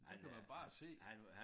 Der kan man bare se